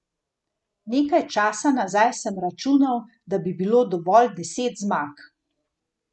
Nekaj časa nazaj sem računal, da bi bilo dovolj deset zmag.